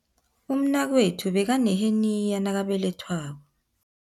Umnakwethu bekaneheniya nakabelethwako.